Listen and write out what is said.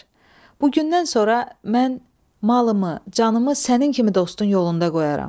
Bugündən sonra mən malımı, canımı sənin kimi dostun yolunda qoyaram.